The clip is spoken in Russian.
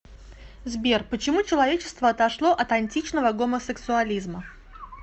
сбер почему человечество отошло от античного гомосексуализма